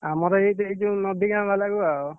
ଆମର ଏଇ ଦେଇଛୁ ନଦୀ ଗାଁ ବାଲାକୁ ଆଉ।